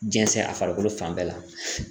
Jɛnsɛn a farikolo fan bɛɛ la